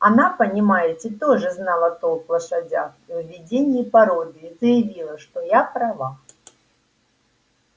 она понимаете тоже знала толк в лошадях и в выведении породы и заявила что я права